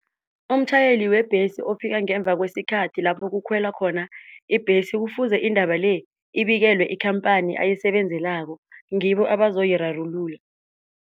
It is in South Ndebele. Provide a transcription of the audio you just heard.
Umtjhayeli webhesi ofika ngemva kweskhathi lapho kukhwelwa khona ibhesi kufuze indaba le ibikelwe ikhamphani ayisebenzelako ngibo abazoyirarulula.